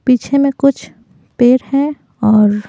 पीछे में कुछ पेर है और--